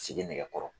Sigi nɛgɛkɔrɔ